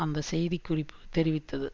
அந்த செய்தி குறிப்பு தெரிவித்தது